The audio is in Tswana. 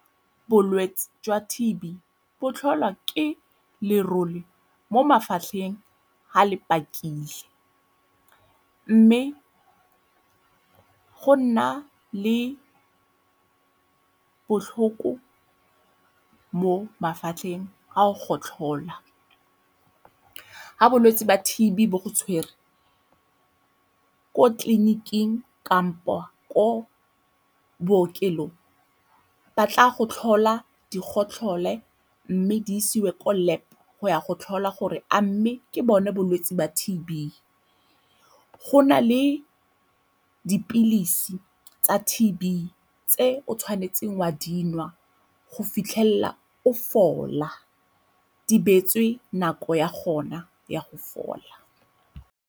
Bolwetse jwa T_B bo tlholwa ke lerole mo mafatlheng ha le pakile mme go nna le botlhoko mo mafatlheng ga o gotlhola. Ha bolwetse ba T_B bo go tshwere, ko tleliniking kampo ko bookelong ba tla go tlhola di gotlhole mme di isiwe ko lab go ya go tlhola gore a mme ke bone bolwetse ba T_B. Go na le dipilisi tsa T_B tse o tshwanetseng wa di nwa go fitlhelela o fola, di beetswe nako ya gona ya go fola.